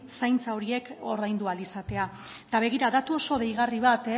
zaintza horiek ordaindu ahal izatea eta begira datu oso deigarri bat